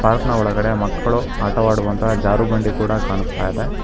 Park ನ ಒಳಗಡೆ ಮಕ್ಕಳು ಆಟವಾಡುವಂತಹ ಜಾರುಬಂಡಿ ಕೂಡ ಕಾಣಸ್ತಾಇದೆ.